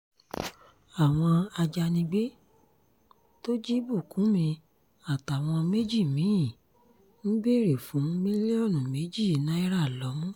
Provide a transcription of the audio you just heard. àwọn ajànigbé tó jí bùkúnmi àtàwọn méjì mì-ín ń béèrè fún mílíọ̀nù méjì náírà lọ́mú